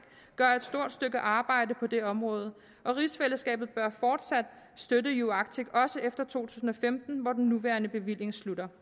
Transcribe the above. gør et stort stykke arbejde på det område og rigsfællesskabet bør fortsat støtte uarctic også efter to tusind og femten hvor den nuværende bevilling slutter